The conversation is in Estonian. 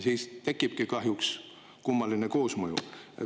Siis tekibki kahjuks kummaline koosmõju.